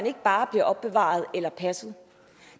ikke bare bliver opbevaret eller passet